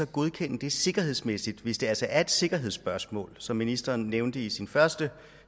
godkende det sikkerhedsmæssigt hvis det altså er et sikkerhedsspørgsmål som ministeren nævnte det i sit første